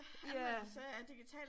Ja